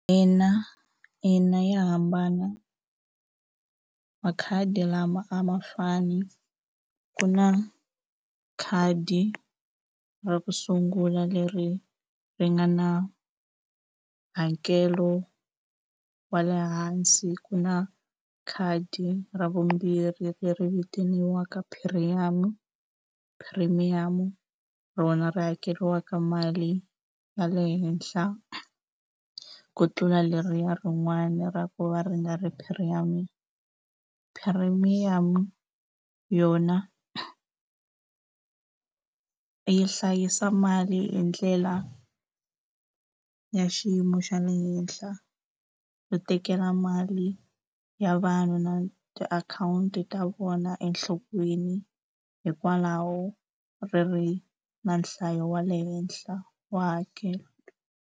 Ina ina ya hambana makhadi lama a ma fani ku na khadi ra ku sungula leri ri nga na hakelo wa le hansi ku na khadi ra vumbirhi leri vitaniwaka premium premium rona ri hakeriwaka mali ya le henhla ku tlula leriya rin'wana ra ku va ri nga ri premium yona yi hlayisa mali hi ndlela ya xiyimo xa le henhla ku tekela mali ya vanhu na tiakhawunti ta vona enhlokweni hikwalaho ri ri na nhlayo wa le henhla wa hakelo.